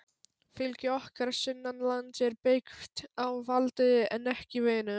Fylgi okkar sunnanlands er byggt á valdi en ekki vinum.